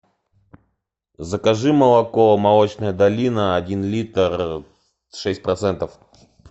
закажи молоко молочная долина один литр шесть процентов